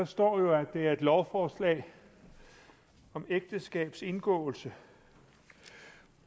står jo at det er et lovforslag om ægteskabs indgåelse